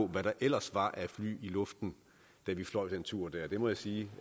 hvad der ellers var af fly i luften da vi fløj den tur det må jeg sige